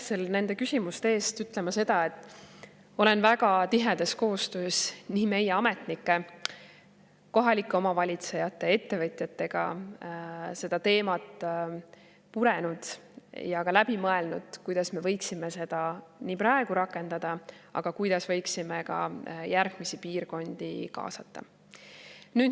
Esmalt pean muidugi ütlema seda, et olen väga tihedas koostöös meie ametnike, kohalike omavalitsuste ja ettevõtjatega seda teemat purenud ja ka läbi mõelnud, kuidas me võiksime seda praegu rakendada, aga ka seda, kuidas me võiksime järgmisi piirkondi kaasata.